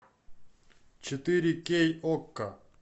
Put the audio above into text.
четыре кей окко